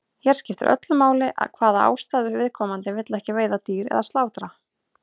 Hér skiptir öllu máli af hvaða ástæðu viðkomandi vill ekki veiða dýr eða slátra.